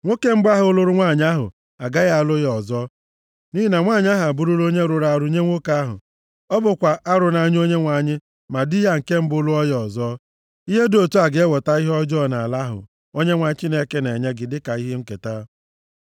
nwoke mbụ ahụ lụrụ nwanyị ahụ agaghị alụ ya ọzọ, nʼihi na nwanyị a abụrụla onye rụrụ arụ nye nwoke ahụ. Ọ bụkwa arụ nʼanya Onyenwe anyị ma di ya nke mbụ lụọ ya ọzọ. Ihe dị otu a ga-eweta ihe ọjọọ nʼala ahụ Onyenwe anyị Chineke na-enye gị dịka ihe nketa.